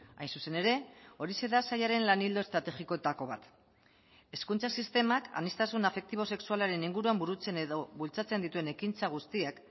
hain zuzen ere horixe da sailaren lan ildo estrategikoetako bat hezkuntza sistemak aniztasun afektibo sexualaren inguruan burutzen edo bultzatzen dituen ekintza guztiak